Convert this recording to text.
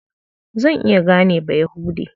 Zan iya gane Bayahude.